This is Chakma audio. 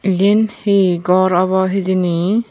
iyen he gor obo hijeni.